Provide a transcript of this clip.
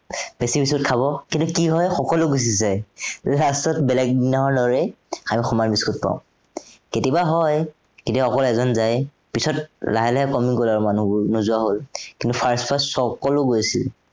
বেছি biscuit খাব, কিন্তু কি হয় সকলো গুচি যায়। last ত বেলেগ দিনাখনৰ দৰেই আমি সমান biscuit পাওঁ। কেতিয়াবা হয়, কেতিয়াবা অকল এজন যায়। পিছত লাহে লাহে কমি গল আৰু মানুহবোৰ নোযোৱা হল। কিন্তু first first সৱ, সকলো গৈছিল।